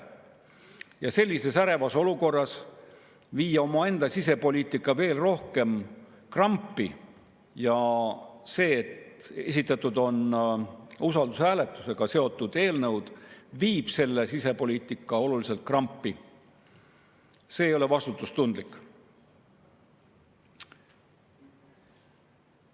Ja sellises ärevas olukorras viia oma sisepoliitika veel rohkem krampi – ja see, et esitatud on usaldushääletusega seotud eelnõud, viib meie sisepoliitika olulisel määral krampi – ei ole vastutustundlik.